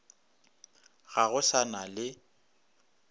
ga go sa na le